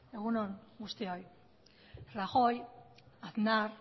egun on guztioi rajoy aznar